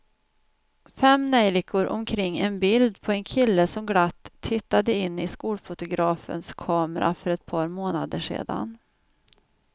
Fem neljikor omkring ett bild på en kille som glatt tittade in i skolfotografens kamera för ett par månader sedan.